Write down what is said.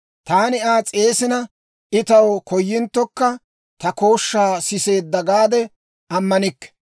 Taani Aa s'eesina, I taw koyinttokka, ‹Ta kooshshaa siseedda› gaade ammanikke.